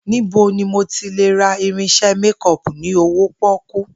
Níbo ni mo ti lè ra irins̩e méko̩ò̩pù ní owó pó̩kú?